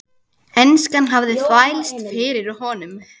Enskan hafði þvælst fyrir honum.